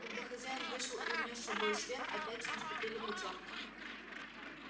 когда хозяин вышел и унёс с собою свет опять наступили потёмки